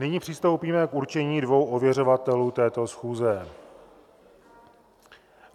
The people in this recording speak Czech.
Nyní přistoupíme k určení dvou ověřovatelů této schůze.